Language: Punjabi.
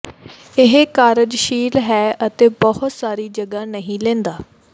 ਇਹ ਕਾਰਜਸ਼ੀਲ ਹੈ ਅਤੇ ਬਹੁਤ ਸਾਰੀ ਜਗ੍ਹਾ ਨਹੀਂ ਲੈਂਦਾ